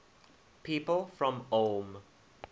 people from ulm